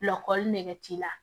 Lɔgɔli nɛgɛ t'i la